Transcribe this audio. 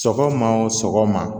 Sɔgɔma o sɔgɔma